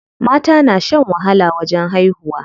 Mata na shan wahala wajen haihuwa.